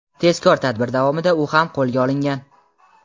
tezkor tadbir davomida u ham qo‘lga olingan.